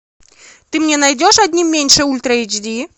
ты мне найдешь одним меньше ультра эйч ди